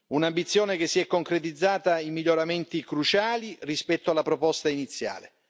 Un'ambizione che si è concretizzata in miglioramenti cruciali rispetto alla proposta iniziale.